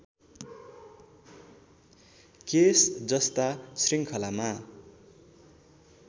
case जस्ता श्रृङ्खलामा